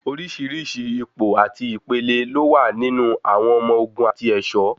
Oríṣìíríṣìí ipò àti ìpele ló wà nínú àwọn ọmọ ogun àti ẹ̀ṣọ̀.